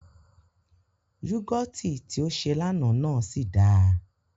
Yúgọ̀tì tí ó ṣe l'àná náà sì dáa